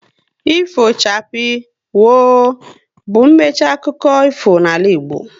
Ifo chapii, woo! bụ mmechi akụkọ ifo n'ala Igbo